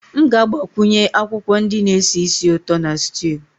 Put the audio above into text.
M ga-agbakwunye akwụkwọ ndị na-esi ísì ụtọ na stew